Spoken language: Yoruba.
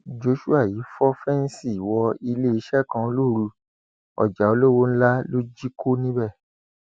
joshua yìí fọ fẹǹsì wọ iléeṣẹ kan lóru ọjà olówó ńlá ló jí kó níbẹ